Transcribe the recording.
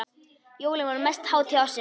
Jólin voru mesta hátíð ársins.